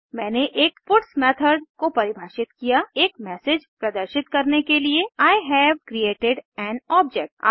मैंने एक puts method को परिभाषित किया एक मैसेज प्रदर्शित करने के लिए I have created an object